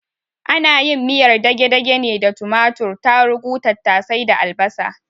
Ana yin miyar dagedage ne da tumatur, tarugu, tattase da albasa